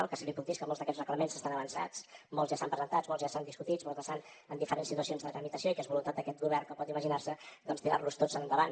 el que sí que li puc dir és que molts d’aquests reglaments estan avançats molts ja estan presentats molts ja estan discutits molts estan en diferents situacions de tramitació i que és voluntat d’aquest govern com pot imaginar se doncs tirar los tots endavant